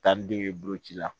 Taa ni den ye boloci la